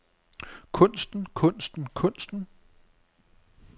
kunsten kunsten kunsten